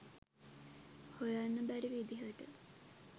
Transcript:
හොයන්න බැරි විදිහට